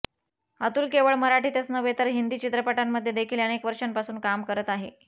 अतुल केवळ मराठीतच नव्हे तर हिंदी चित्रपटांमध्ये देखील अनेक वर्षांपासून काम करत आहे